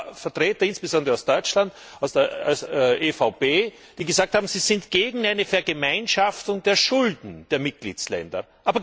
Es gab Vertreter, insbesondere aus Deutschland, aus der EVP, die gesagt haben, sie sind gegen eine Vergemeinschaftung der Schulden der Mitgliedstaaten.